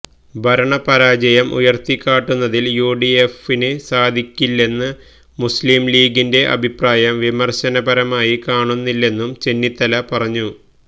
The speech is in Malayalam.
ഭരണ പരാജയം ഉയർത്തിക്കാട്ടുന്നതിൽ യുഡിഎഫിന് സാധിക്കുന്നില്ലെന്ന മുസ്ലിം ലീഗിന്റെ അഭിപ്രായം വിമർശനപരമായി കാണുന്നില്ലെന്നും ചെന്നിത്തല പറഞ്ഞു